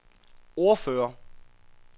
ordfører